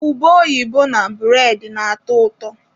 Ube oyibo na bụredị na-atọ ụtọ.